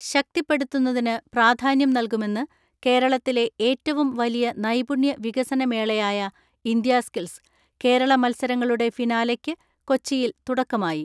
ശക്തിപ്പെടുത്തുന്നതിന് പ്രാധാന്യം നൽകുമെന്ന് കേരളത്തിലെ ഏറ്റവും വലിയ നൈപുണ്യ വികസന മേളയായ ഇന്ത്യ സ്കിൽസ് കേരള മത്സരങ്ങളുടെ ഫിനാലെക്ക് കൊച്ചിയിൽ തുടക്കമായി.